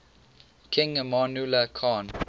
king amanullah khan